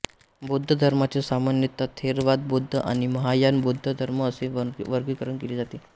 बौद्ध धर्माचे सामान्यतः थेरवाद बौद्ध आणि महायान बौद्ध धर्म असे वर्गीकरण केले जाते